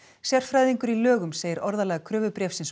sérfræðingur í lögum segir orðalag